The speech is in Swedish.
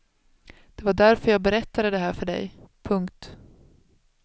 Det var därför jag berättade det här för dig. punkt